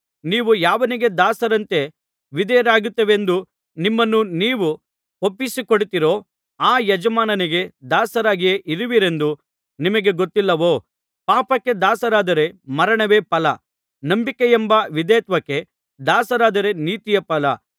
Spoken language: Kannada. ನೀವು ಯಾವನಿಗೆ ದಾಸರಂತೆ ವಿಧೇಯರಾಗುತ್ತೇವೆಂದು ನಿಮ್ಮನ್ನು ನೀವು ಒಪ್ಪಿಸಿ ಕೊಡುತ್ತೀರೋ ಆ ಯಜಮಾನನಿಗೆ ದಾಸರಾಗಿಯೇ ಇರುವಿರೆಂಬುದು ನಿಮಗೆ ಗೊತ್ತಿಲ್ಲವೋ ಪಾಪಕ್ಕೆ ದಾಸರಾದರೆ ಮರಣವೇ ಫಲ ನಂಬಿಕೆಯೆಂಬ ವಿಧೇಯತ್ವಕ್ಕೆ ದಾಸರಾದರೆ ನೀತಿಯೇ ಫಲ